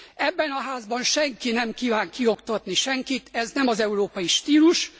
Ebben a Házban senki nem kíván kioktatni senkit, ez nem az európai stílus.